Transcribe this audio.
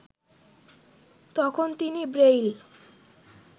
তখন তিনি ব্রেইল